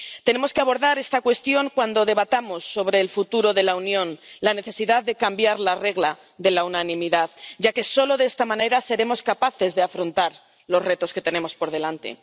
Tenemos que abordar esta cuestión cuando debatamos sobre el futuro de la Unión la necesidad de cambiar la regla de la unanimidad, ya que solo de esta manera seremos capaces de afrontar los retos que tenemos por delante.